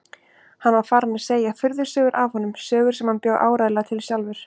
Hann var farinn að segja furðusögur af honum, sögur sem hann bjó áreiðanlega til sjálfur.